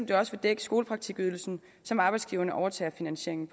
det også vil dække skolepraktikydelsen som arbejdsgiverne overtager finansieringen